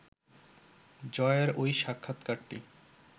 জয়ের ওই সাক্ষাৎকারটি